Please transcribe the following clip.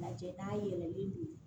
Lajɛ n'a yɛlɛnen don